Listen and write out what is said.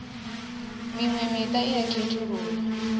miṅwe miṱa i a khethululwa